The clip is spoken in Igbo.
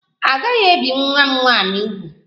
A gaghị ebi nwa m nwaanyị úgwù!